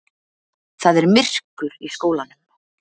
Það er myrkur í skólanum.